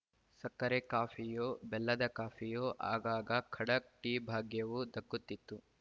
ಸಕ್ಕರೆ ಕಾಫಿಯೊ ಬೆಲ್ಲದ ಕಾಫಿಯೊ ಆಗಾಗ ಖಡಕ್‌ ಟೀ ಭಾಗ್ಯವೂ ದಕ್ಕುತ್ತಿತ್ತು